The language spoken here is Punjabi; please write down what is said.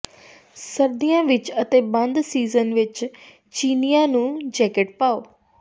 ਸਰਦੀਆਂ ਵਿੱਚ ਅਤੇ ਬੰਦ ਸੀਜ਼ਨ ਵਿੱਚ ਚੀਨੀਆਂ ਨੂੰ ਜੈਕਟ ਪਾਓ